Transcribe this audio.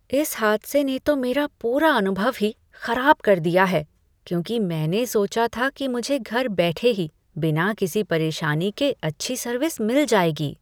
इस हादसे ने तो मेरा पुरा अनुभव ही खराब कर दिया है, क्योंकि मैंने सोचा था कि मुझे घर बैठे ही बिना किसी परेशानी के अच्छी सर्विस मिल जाएगी।